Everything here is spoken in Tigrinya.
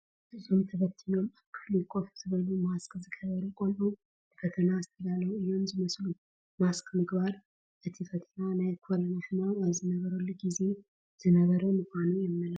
እዞም ታበቲኖም ኣብ ክፍሊ ኮፍ ዝበሉ ማስክ ዝገበሩ ቆልዑ ንፈተና ዝተዳለው እዮም ዝመስሉ፡፡ ማስክ ምግባሮ እቲ ፈተና ናይ ኮረና ሕማም ኣብ ዝነበረሉ ግዜ ዝነበረ ምዃኑ ዶ የመልክት?